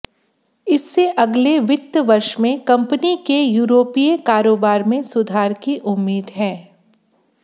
इससे अगले वित्त वर्ष में कंपनी के यूरोपीय कारोबार में सुधार की उम्मीद है